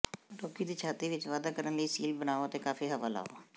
ਰੋਗੀ ਦੀ ਛਾਤੀ ਵਿਚ ਵਾਧਾ ਕਰਨ ਲਈ ਸੀਲ ਬਣਾਉ ਅਤੇ ਕਾਫ਼ੀ ਹਵਾ ਲਾਓ